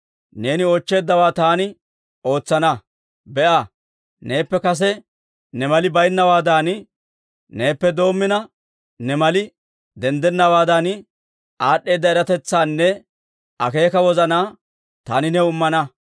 neeni oochcheeddawaa taani ootsana. Be'a, neeppe kase ne mali baynnawaadan neeppe doomina ne mali denddennawaadan, aad'd'eeda eratetsaanne akeeka wozanaa taani new immana.